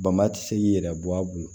Bama ti se k'i yɛrɛ bɔ a bolo